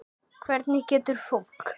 Hvernig getur fólk.